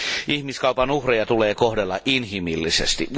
Ihmiskaupan uhreja tulee kohdella inhimillisesti.